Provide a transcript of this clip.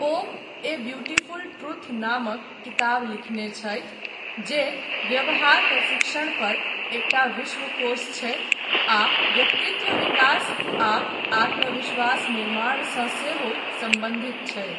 O a beautiful truth नामक किताब लिखने छथि जे 'व्यवहार प्रशिक्षणपर एकटा विश्वकोश छै आ व्यक्तित्व विकास आ आत्मविश्वास निर्माणसँ सेहो सम्बन्धित छै'।